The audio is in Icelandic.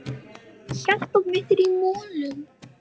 Hjartað mitt er í molum.